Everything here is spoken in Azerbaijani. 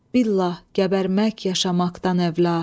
billah qəbərmək yaşamaqdan əvla.